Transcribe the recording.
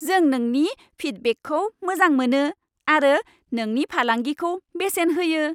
जों नोंनि फिडबेकखौ मोजां मोनो आरो नोंनि फालांगिखौ बेसेन होयो।